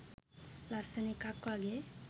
ලස්සන එකක් වගේ.